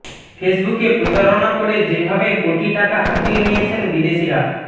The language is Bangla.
ফেসবুকে প্রতারণা করে যেভাবে কোটি টাকা হাতিয়ে নিয়েছেন বিদেশিরা